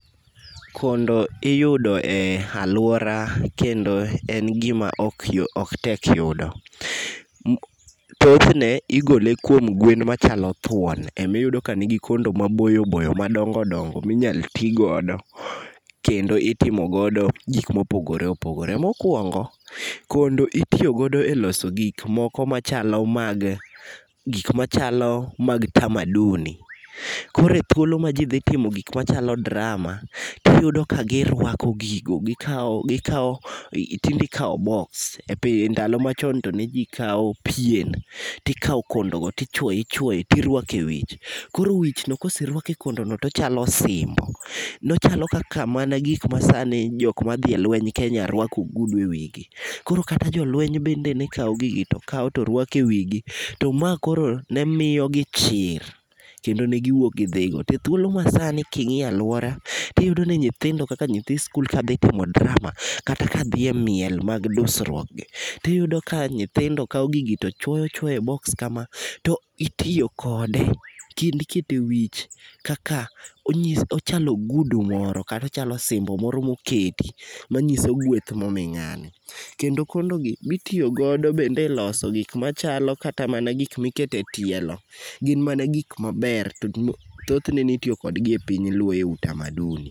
Kondo iyudo e alwora kendo en gima ok tek yudo. Thothne igole kuom gwen machalo thuon, emiyudo ka nigi kondo maboyo boyo madongo dongo minyalo ti godo, kendo itimo godo gik mopogore opogore. Mokwongo, kondo itiyo godo e loso gik moko machalo mag, gik machalo mag tamaduni. Koro e thuolo ma ji dhi timo gik machalo drama, tiyudo ka girwako gigo, gikawo tinde ikawo boks, ndalo machon to ne ji kawo pien, tikawo kondogo ti chuoye ichuoye tirwako e wich. Koro e wichno koserwaki kondono, tochalo osimbo. Nochalo kaka mana gik masani jok madhi e lweny Kenya rwako ogudu e wigi. Koro kata jolweny bende ne kawo gigi to kawo to rwako e wigi, to ma koro ne miyo gi chir, kendo ne giwuok gidhi go to ethuolo masani king'iyo alwora, tiyudo ni nyithindo kaka nyithi skul kadhi timo drama kata ka dhi e miel mag dursuok, tiyudo ka nyithindo kawo gigi tochwoyo chwoyo e boks kama, to itiyo kode, kendo iketo e wich kaka, ochalo ogudu moro kata ochalo osimbo moro moketi manyiso gweth momi ng'ani. Kendo kondogi, gitiyo godo bende e loso gik machalo kata mana gik miketo e tielo. Gin mana gik maber, thothne ne itiyo kode e piny luo e utamaduni.